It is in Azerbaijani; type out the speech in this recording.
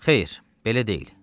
Xeyr, belə deyil.